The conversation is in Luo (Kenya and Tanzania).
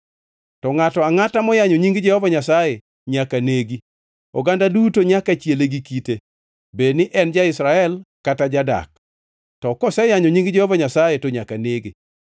to ngʼato angʼata moyanyo nying Jehova Nyasaye nyaka negi. Oganda duto nyaka chiele gi kite, bed ni en ja-Israel kata jadak, to koseyanyo nying Jehova Nyasaye to nyaka nege.